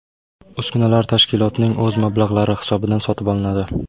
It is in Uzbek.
Uskunalar tashkilotning o‘z mablag‘lari hisobidan sotib olinadi.